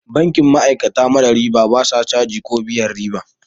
Bankin ma'aikata mara riba, ba sa caji ko biyan riba.